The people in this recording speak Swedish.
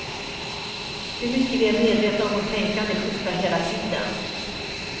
Hur mycket vi är medvetna om vårt tänkande skiftar hela tiden.